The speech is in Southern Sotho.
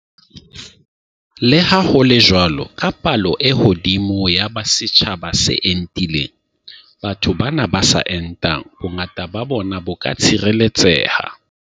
Le ha ho le jwalo, ka palo e hodimo ya setjhaba se entileng, batho bana ba sa entang, bongata ba bona bo ka tshireletseha.